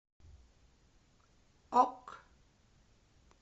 ок